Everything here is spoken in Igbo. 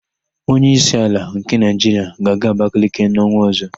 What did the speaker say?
Onyeísí ala nke Naịjiria ga-aga Abakaliki n''ọnwa ọ̀zọ́.